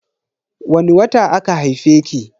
Wani wata aka haife ki?